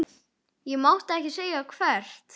Ég mátti ekki segja hvert.